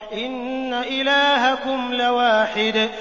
إِنَّ إِلَٰهَكُمْ لَوَاحِدٌ